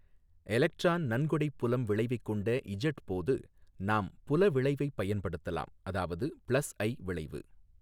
Electron நன்கொடை புலம் விளைவைக் கொண்ட இஜட் போது நாம் புல விளைவைப் பயன்படுத்தலாம் அதாவது பிளஸ் ஐ விளைவு.